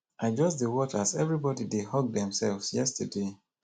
i just dey watch as everybody dey hug themselves yesterday